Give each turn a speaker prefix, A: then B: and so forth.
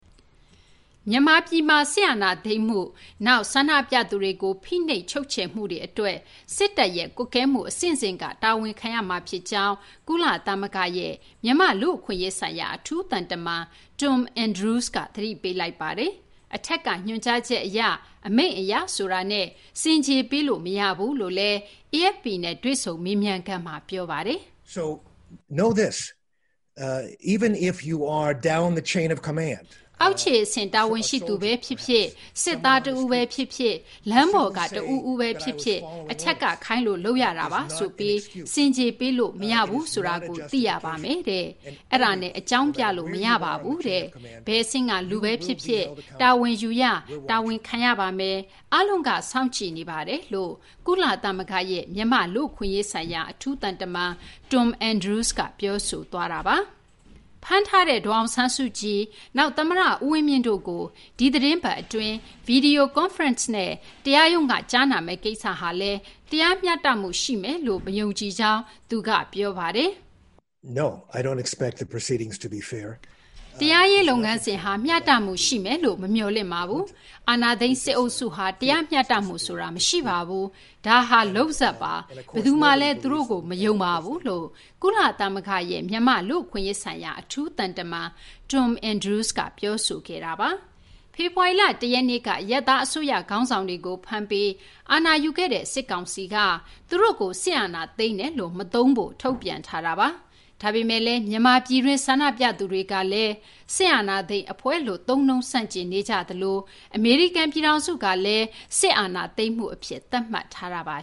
A: မြန်မာပြည်မှာ စစ်အာဏာသိမ်းမှု၊ နောက် ဆန္ဒပြသူတွေကို ဖိနှိပ်ချုပ်ချယ်မှုတွေ အတွက် စစ်တပ်ရဲ့ကွပ်ကဲမှု အဆင့်ဆင့်က တာဝန်ခံရမှာ ဖြစ်ကြောင်း ကုလသမဂ္ဂရဲ့ မြန်မာ့ လူ့အခွင့်အရေးဆိုင်ရာ အထူးသံတမန် Tom Andrews က သတိပေးလိုက်ပါတယ်။ အထက်က ညွှန်ကြားချက် အရ အမိန့်အရ ဆိုတာနဲ့ ဆင်ခြေပေးလို့ မရဘူးလို့လည်း AFP နဲ့ တွေ့ဆုံမေးမြန်းခန်းမှာ ပြောပါတယ်။ “အောက်ခြေအဆင့် တာဝန်ရှိသူဘဲဖြစ်ဖြစ်၊ စစ်သားတဦးဘဲ ဖြစ်ဖြစ်၊ လမ်းပေါ်က လူတဦးဦးဘဲ ဖြစ်ဖြစ် အထက်က ခိုင်းလို့ လုပ်ရတာပါဆိုပြီး ဆင်ခြေ ပေးလို့ မရဘူးဆိုတာကို သိရပါမယ်။ အဲဒါနဲ့ အကြောင်းပြလို့ မရပါဘူး။ ဘယ်အဆင့်က လူဘဲ ဖြစ်ဖြစ် တာဝန်ယူရ တာဝန်ခံရပါမယ်။ အားလုံးက စောင့်ကြည့်နေပါတယ်” လို့ ကုလသမဂ္ဂရဲ့ မြန်မာ့ လူ့အခွင့်အရေးဆိုင်ရာ အထူးသံတမန် Tom Andrews က ပြောဆိုခဲ့တာပါ။ ဖမ်းထားတဲ့ ဒေါ်အောင်ဆန်းစုကြည်၊ နောက် သမ္မတ ဦးဝင်းမြင့်တို့ကို ဒီသီတင်းပတ် အတွင်း ဗွီဒီယို ကွန်ဖရင့်နဲ့ တရားရုံးက ကြားနာမယ့် ကိစ္စဟာလည်း တရားမျှတမှု ရှိမယ်လို့ မယုံကြည်ကြောင်း သူက ပြောပါတယ်။ “တရားရေး လုပ်ငန်းစဉ်က မျှတမှု ရှိမယ်လို့ မမျှော်လင့်ပါဘူး။ အာဏာသိမ်း စစ်အုပ်စုဟာ တရားမျှတမှု ဆိုတာ မရှိပါဘူး။ ဒါက လုပ်ဇာတ်ပါ။ ဘယ်သူမှလည်း သူတို့ကို မယုံပါဘူး” လို့ ကုလသမဂ္ဂရဲ့ မြန်မာ့ လူ့အခွင့်အရေးဆိုင်ရာ အထူးသံတမန် Tom Andrews က ပြောဆိုခဲ့တာပါ။ ဖေဖော်ဝါရီလ ၁ ရက်နေ့က အရပ်သား အစိုးရ ခေါင်းဆောင်တွေကို ဖမ်းပြီး အာဏာယူခဲ့တဲ့ စစ်ကောင်စီက သူတို့ကို စစ်အာဏာသိမ်းတယ်လို့ မသုံးဖို့ ထုတ်ပြန်ထားတာပါ။ ဒါပေမယ့်လည်း မြန်မာပြည်တွင်း ဆန္ဒပြသူတွေကလည်း စစ်အာဏာသိမ်း အဖွဲ့လို့ သုံးနှုန်းဆန့်ကျင်နေကြသလို အမေရိကန် ပြည်ထောင်စုကလည်း စစ်အာဏာသိမ်းမှု အဖြစ် သတ်မှတ်ထားတာပါ